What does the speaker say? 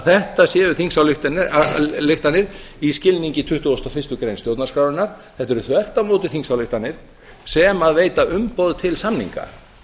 þetta séu þingsályktanir í skilningi tuttugasta og fyrstu grein stjórnarskrárinnar þetta eru þvert á móti þingsályktanir sem veita umboð til samninga